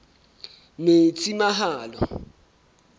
metsimaholo